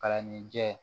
Palanni jɛ